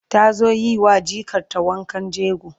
ta zo yiwa jikar ta wankan jego